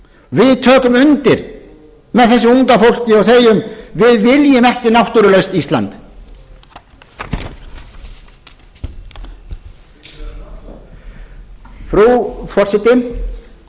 við tökum undir með þessu unga fólki og segjum við viljum ekki náttúrulaust ísland frú forseti vinstri hreyfingin grænt framboð